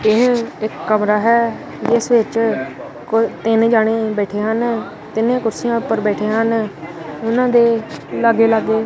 ਕਮਰਾ ਹੈ ਇਸ ਵਿੱਚ ਤਿੰਨ ਜਣੇ ਬੈਠੇ ਹਨ ਤਿੰਨੇ ਕੁਰਸੀਆਂ ਉੱਪਰ ਬੈਠੇ ਹਨ ਉਹਨਾਂ ਦੇ ਲਾਗੇ ਲਾਗੇ--